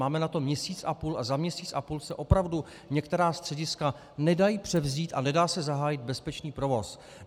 Máme na to měsíc a půl a za měsíc a půl se opravdu některá střediska nedají převzít a nedá se zahájit bezpečný provoz.